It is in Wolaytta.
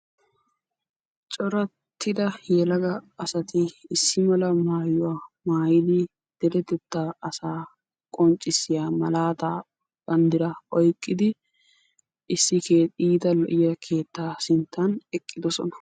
Corattidda yelagga asatti issi mala maayuwaa maayiddi derettetta asaa qoncissiyaa malaataa bandiraa oyqqidi issi iitta lo"iyaa keettaa sinttan eqqiddosona.